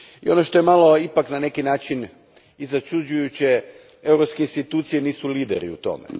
Ono što je ipak na neki način malo i začuđujuće, europske institucije nisu lideri u tome.